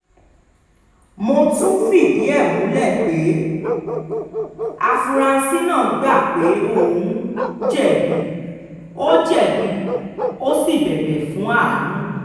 mo tún fìdí ẹ̀ múlẹ̀ pé um afurasí náà gbà pé òun um jẹ̀bi ó jẹ̀bi ó sì bẹ̀bẹ̀ fún àánú